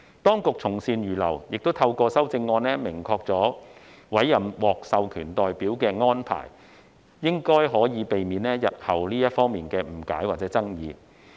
當局從善如流，透過修正案明確委任獲授權代表的安排，應可避免日後在這方面的誤解或爭議。